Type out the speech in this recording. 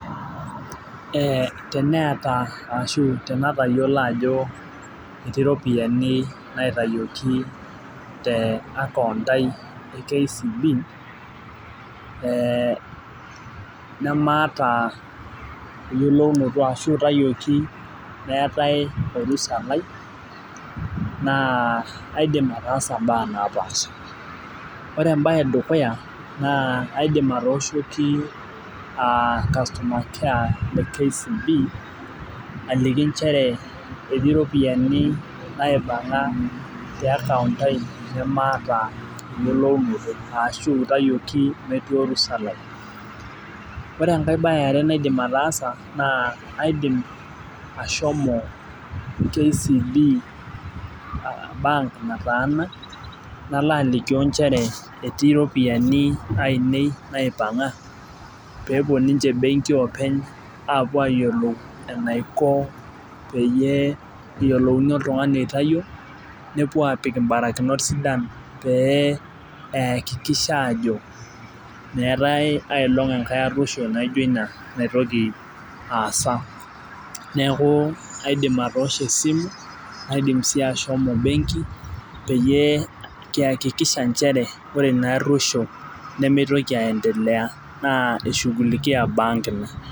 Ee teneta ashu tanatayiolo ajo etii ropiyani naitawuoki te akount [cs@?aai e kcb e nemaata eyiolounoto ashu itawuoki meetae orusa lai na kaidi ataasa mbaa napaasha ore embae edukuya na kaoshoki customer care le kcb ajoki nchere etii mpisai naipanga te account [cs[aai maata eyiolounoto ashu itawuoki metii orusa lai ore enkae bae eare naidim ashomo kcb bank nataana nalobalikio njere etii ropiyani aainei naipanga pepuob ayiolou ajoenaiko peyiolouni oltungani aitawuo nepuo apik mbarikinot sidain piiakikisha ajo meetae ai toki naijo ina natoki ataasa, na kaidim atoosho esimu naitoki peyie kihakikisha nchere ore inaaruoisho mitoki aasa eshugulikia bank ina.